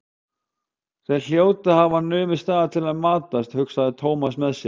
Þeir hljóta að hafa numið staðar til að matast, hugsaði Thomas með sér.